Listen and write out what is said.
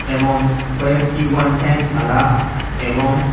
এবং কয়েকটি one time থালা এবং--